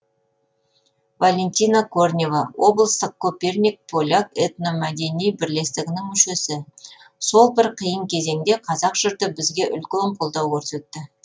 валентина корнева облыстық коперник поляк этномәдени бірлестігінің мүшесі сол бір қиын кезеңде қазақ жұрты бізге үлкен қолдау көрсетті